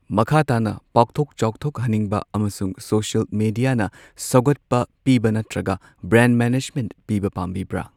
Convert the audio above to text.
ꯃꯈꯥ ꯇꯥꯅ ꯄꯥꯛꯊꯣꯛ ꯆꯥꯎꯊꯣꯛꯍꯟꯅꯤꯡꯕ ꯑꯃꯁꯨꯡ ꯁꯣꯁꯤꯌꯦꯜ ꯃꯤꯗꯤꯌꯥꯅ ꯁꯧꯒꯠꯄ ꯄꯤꯕ ꯅꯠꯇ꯭ꯔꯒ ꯕ꯭ꯔꯥꯟꯗ ꯃꯦꯅꯦꯖꯃꯦꯟꯠ ꯄꯤꯕꯥ ꯄꯥꯝꯕꯤꯕ꯭ꯔꯥ?